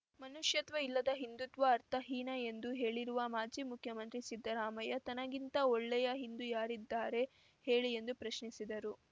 ಮನುಷ್ಯತ್ವ ಇಲ್ಲದ ಹಿಂದುತ್ವ ಅರ್ಥಹೀನ ಎಂದು ಹೇಳಿರುವ ಮಾಜಿ ಮುಖ್ಯಮಂತ್ರಿ ಸಿದ್ದರಾಮಯ್ಯ ತನಗಿಂತ ಒಳ್ಳೆಯ ಹಿಂದು ಯಾರಿದ್ದಾರೆ ಹೇಳಿ ಎಂದು ಪ್ರಶ್ನಿಸಿದರು